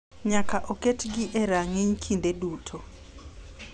Nyaka oketgi e rang’iny kinde duto.